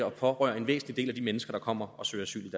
og berøre en væsentlig del af de mennesker der kommer og søger asyl